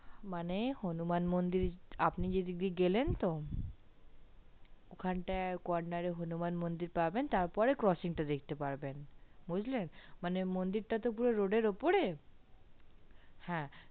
মানে হনুমান মন্দির আপনে যেদিক দিয়ে গেলেন তো ওখানটায় কর্নারে হনুমান মন্দির পাবেন তার পর coaching দেখতে পাবেন বুঝলে মানে মন্দিরটা তো পুরো road এর উপরে হ্যা